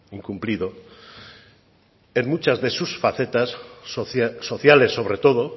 incumplido en muchas de sus facetas sociales sobre todo